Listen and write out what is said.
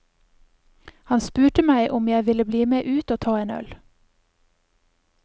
Han spurte meg om jeg ville bli med ut og ta en øl.